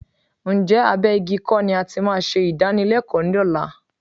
Ǹjẹ́ abẹ́ igi kọ́ ni a ti máa ṣe ìdánilẹ́kọ̀ọ́ lọ́la?